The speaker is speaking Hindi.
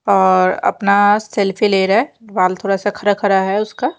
और अपना सेल्फी ले रहा है बाल थोड़ा सा खड़ा खड़ा है उसका--